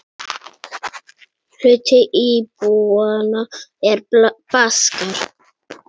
Hluti íbúanna er Baskar.